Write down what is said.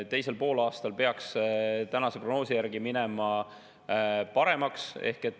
Teisel poolaastal peaks tänase prognoosi järgi minema paremaks.